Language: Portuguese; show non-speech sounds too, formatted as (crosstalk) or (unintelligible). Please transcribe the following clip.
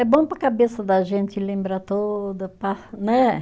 É bom para a cabeça da gente lembrar toda (unintelligible) né